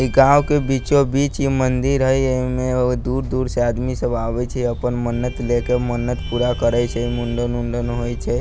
ई गाँव के बीचो-बीच ई मंदिर हई एमे बहुत दूर-दूर से आदमी सब आवे छै अपन मन्नत ल के मन्नत पूरा करे छै मुण्डन-उण्डन होए छै।